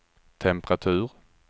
temperatur